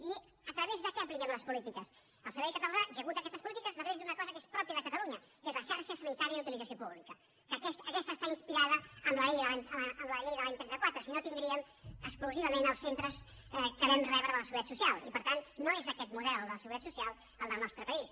i a través de què apliquem les polítiques el servei català executa aquestes polítiques a través d’una cosa que és pròpia de catalunya que és la xarxa sanitària d’utilització pública que aquesta està inspirada en la llei de l’any trenta quatre si no tindríem exclusivament els centres que vam rebre de la seguretat social i per tant no és aquest model el de la seguretat social el del nostre país